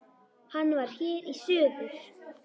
Hann var hér í suður.